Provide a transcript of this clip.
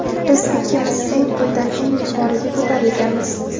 Biz ikkimiz eng quyidan eng yuqoriga ko‘tarilganmiz.